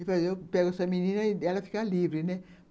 Eu pego essa menina e ela fica livre, né